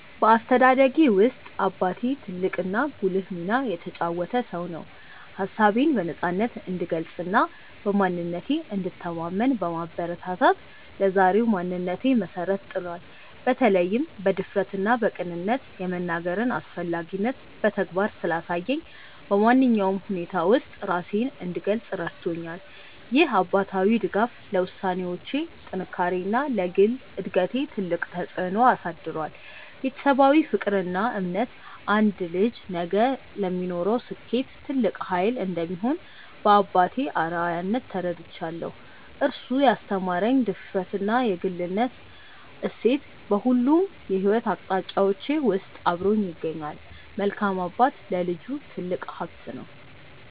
በአስተዳደጌ ውስጥ አባቴ ትልቅና ጉልህ ሚና የተጫወተ ሰው ነው። ሀሳቤን በነፃነት እንድገልጽና በማንነቴ እንድተማመን በማበረታታት ለዛሬው ማንነቴ መሰረት ጥሏል። በተለይም በድፍረትና በቅንነት የመናገርን አስፈላጊነት በተግባር ስላሳየኝ፣ በማንኛውም ሁኔታ ውስጥ ራሴን እንድገልጽ ረድቶኛል። ይህ አባታዊ ድጋፍ ለውሳኔዎቼ ጥንካሬና ለግል እድገቴ ትልቅ ተጽዕኖ አሳድሯል። ቤተሰባዊ ፍቅርና እምነት አንድ ልጅ ነገ ለሚኖረው ስኬት ትልቅ ኃይል እንደሚሆን በአባቴ አርአያነት ተረድቻለሁ። እሱ ያስተማረኝ የድፍረትና የግልነት እሴት በሁሉም የሕይወት አቅጣጫዎቼ ውስጥ አብሮኝ ይገኛል። መልካም አባት ለልጁ ትልቅ ሀብት ነው።